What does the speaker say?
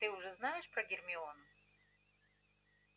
ты уже знаешь про гермиону